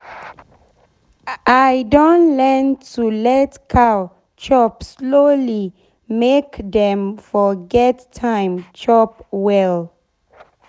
i don learn to let cow chop slowly make dem for get time chop well.